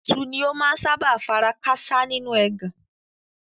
Ẹtù ni ó máa ń sábà fara ká àsà nínú ẹgàn